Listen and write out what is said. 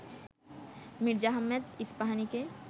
Mirza Ahmed ইস্পাহানিকে